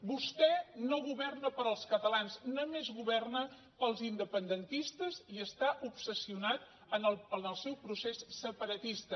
vostè no governa per als catalans només governa per als independentistes i està obsessionat en el seu procés separatista